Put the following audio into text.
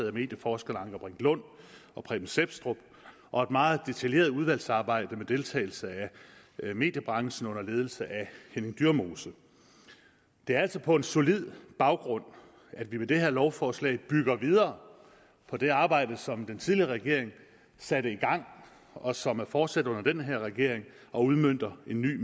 af medieforskerne anker brink lund og preben sepstrup og et meget detaljeret udvalgsarbejde med deltagelse af mediebranchen og under ledelse af henning dyremose det er altså på en solid baggrund at vi med det her lovforslag bygger videre på det arbejde som den tidligere regering satte i gang og som er fortsat under den her regering og udmønter en ny